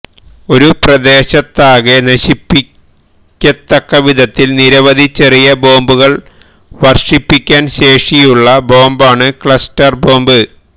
ഒരു പ്രദേശത്താകെ നശിപ്പിക്കത്തക്ക വിധത്തില് നിരവധി ചെറിയ ബോംബുകള് വര്ഷിപ്പിക്കാന് ശേഷിയുള്ള ബോംബാണ് ക്ലസ്റ്റര് ബോംബ്